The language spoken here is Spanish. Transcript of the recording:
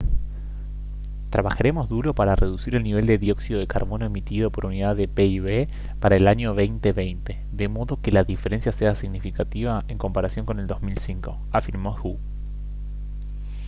«trabajaremos duro para reducir el nivel de dióxido de carbono emitido por unidad de pib para el año 2020 de modo que la diferencia sea significativa en comparación con el 2005» afirmó hu